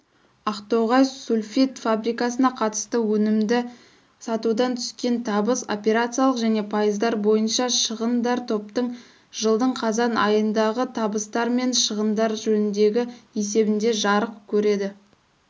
ақтоғай сульфид фабрикасына қатысты өнімді сатудан түскен табыс операциялық және пайыздар бойыншашығындартоптың жылдыңқазанайындағытабыстарменшығындаржөніндегі есебінде жарық көреді